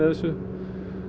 þessu